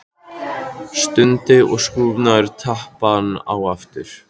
Stundi og skrúfaði tappann á aftur.